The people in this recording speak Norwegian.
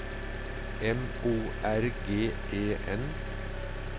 M O R G E N